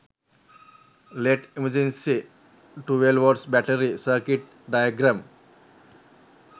led emergency 12v battary circuit diagram